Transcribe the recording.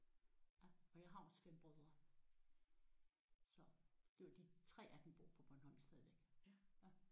Og jeg har også 5 brødre så de 3 af dem bor på Bornholm stadigvæk